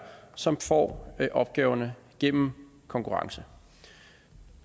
som får opgaverne gennem konkurrence